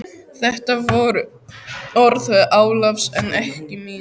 Þetta voru orð Ólafs en ekki mín.